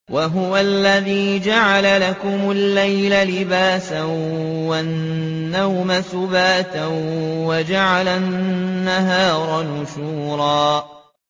وَهُوَ الَّذِي جَعَلَ لَكُمُ اللَّيْلَ لِبَاسًا وَالنَّوْمَ سُبَاتًا وَجَعَلَ النَّهَارَ نُشُورًا